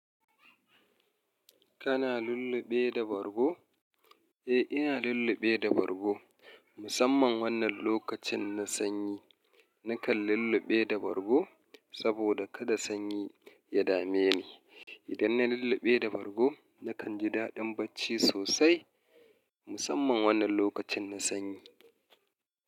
Kana lulluɓe da bargo? Eh, ina lulluɓe da bargo musamman wannan lokacin na sanyi. Nakan lulluɓe da bargo saboda kada sanyi ya dame ni. Idan na lulluɓe da bargo nakan ji daɗin bacci sosai musamman wannan lokacin na sanyi.